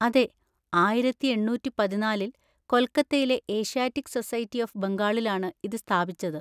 അതെ, ആയിരത്തി എണ്ണൂറ്റി പതിനാലിൽ കൊൽക്കത്തയിലെ ഏഷ്യാറ്റിക് സൊസൈറ്റി ഓഫ് ബംഗാളിലാണ് ഇത് സ്ഥാപിച്ചത്.